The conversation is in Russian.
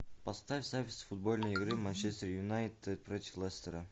поставь запись футбольной игры манчестер юнайтед против лестера